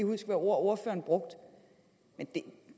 hvilke ord ordføreren brugte